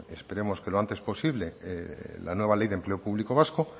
esperemos que los antes posible la nueva ley de empleo público vasco